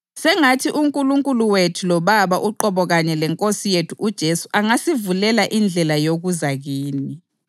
Sengathi uNkulunkulu wethu loBaba uqobo kanye leNkosi yethu uJesu angasivulela indlela yokuza kini.